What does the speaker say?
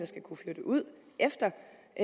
skal kunne flytte ud efter